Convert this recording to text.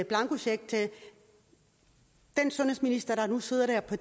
blankocheck til den sundhedsminister der nu sidder der på